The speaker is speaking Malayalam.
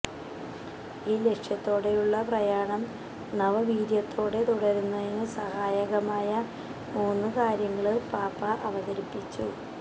ഈ ലക്ഷ്യത്തോടെയുള്ള പ്രയാണം നവവീര്യത്തോടെ തുടരുന്നതിന് സഹായകമായ മൂന്നു കാര്യങ്ങള് പാപ്പാ അവതരിപ്പിച്ചു